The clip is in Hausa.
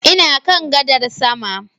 Ina kan gadar sama